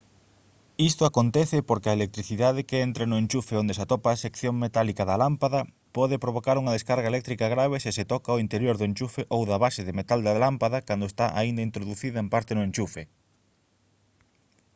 isto acontece porque a electricidade que entra no enchufe onde se atopa a sección metálica da lámpada pode provocar unha descarga eléctrica grave se se toca o interior do enchufe ou da base de metal da lámpada cando está aínda introducida en parte no enchufe